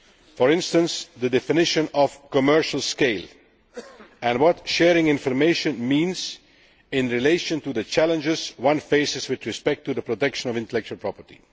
For instance, the definition of commercial scale' and what sharing information means in relation to the challenges one faces with respect to the protection of intellectual property.